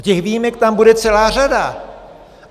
A těch výjimek tam bude celá řada.